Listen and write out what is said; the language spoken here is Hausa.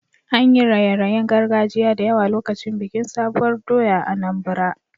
An yi raye-rayen gargajiya da yawa lokacin bikin sabuwar doya a Anambra.